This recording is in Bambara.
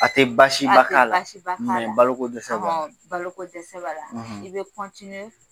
A tɛ basi ba k'a la a tɛ basi ba k'a la baloko dɛsɛ b'a la i bɛ